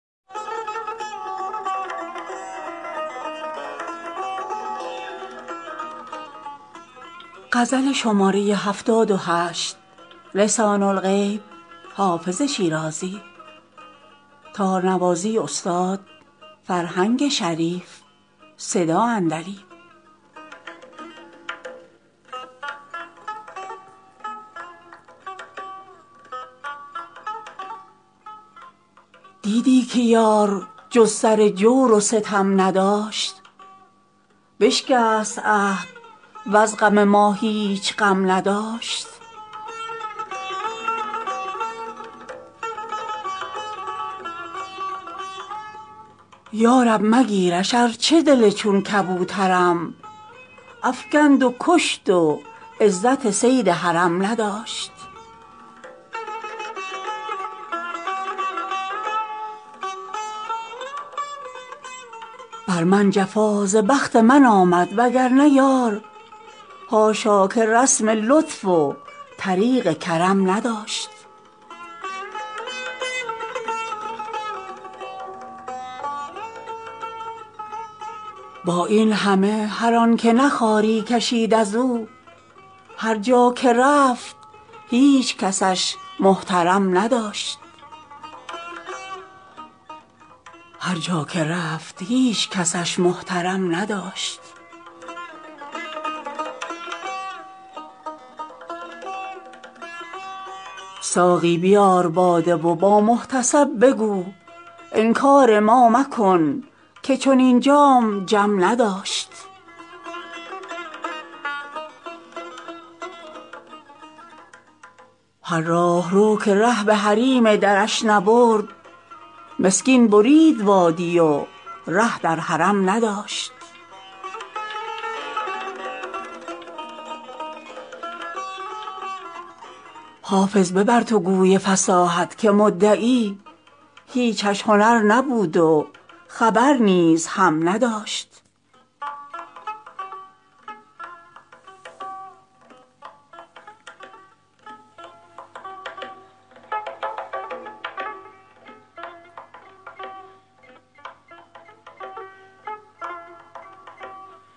دیدی که یار جز سر جور و ستم نداشت بشکست عهد وز غم ما هیچ غم نداشت یا رب مگیرش ارچه دل چون کبوترم افکند و کشت و عزت صید حرم نداشت بر من جفا ز بخت من آمد وگرنه یار حاشا که رسم لطف و طریق کرم نداشت با این همه هر آن که نه خواری کشید از او هر جا که رفت هیچ کسش محترم نداشت ساقی بیار باده و با محتسب بگو انکار ما مکن که چنین جام جم نداشت هر راهرو که ره به حریم درش نبرد مسکین برید وادی و ره در حرم نداشت حافظ ببر تو گوی فصاحت که مدعی هیچش هنر نبود و خبر نیز هم نداشت